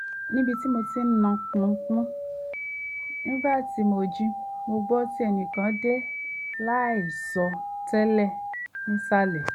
níbi tí mo ti ń nà pọ̀npọ̀n nígbà tí mo jí mo gbọ́ tí ẹnìkan dé láìsọ tẹ́lẹ̀ nísàlẹ̀